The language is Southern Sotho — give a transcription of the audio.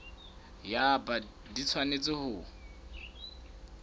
ya bt di tshwanetse ho